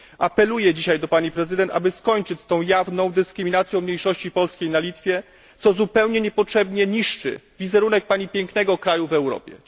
Apeluję dzisiaj do Pani Prezydent, aby skończyć z tą jawną dyskryminacją mniejszości polskiej na Litwie, co zupełnie niepotrzebnie niszczy wizerunek Pani pięknego kraju w Europie.